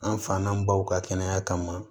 An fan na baw ka kɛnɛya kama